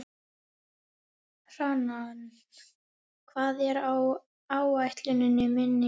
Hrannar, hvað er á áætluninni minni í dag?